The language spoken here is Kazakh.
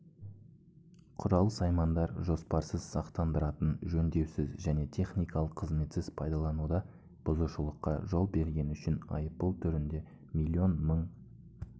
құрал-саймандар жоспарсыз-сақтандыратын жөндеусіз және техникалық қызметсіз пайдаланылуда бұзушылыққа жол бергені үшін айыппұл түрінде млн мың